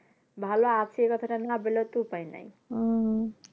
ভালো আছে কথাটা না বললেও একটু উপায় নাই